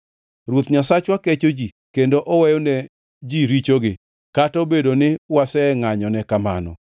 Ruoth Nyasachwa kecho ji kendo oweyo ne ji richogi, kata obedo ni wasengʼanyone kamano;